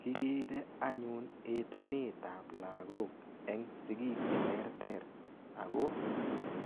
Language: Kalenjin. Kigere anyun etunetab lagok. Eng sigik cheterter ago